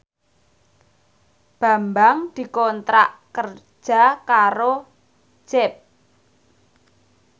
Bambang dikontrak kerja karo Jeep